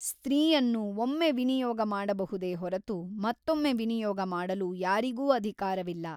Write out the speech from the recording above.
ಸ್ತ್ರೀಯನ್ನು ಒಮ್ಮೆ ವಿನಿಯೋಗ ಮಾಡಬಹುದೇ ಹೊರತು ಮತ್ತೊಮ್ಮೆ ವಿನಿಯೋಗ ಮಾಡಲು ಯಾರಿಗೂ ಅಧಿಕಾರವಿಲ್ಲ.